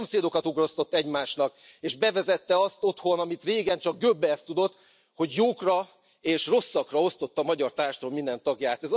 Szomszédokat ugrasztott egymásnak és bevezette azt otthon, amit régen csak Göbbels tudott, hogy jókra és rosszakra osztotta a magyar társadalom minden tagját.